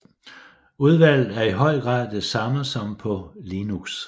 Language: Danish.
Udvalget er i høj grad det samme som på Linux